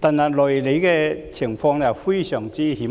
但內裏的情況非常險惡。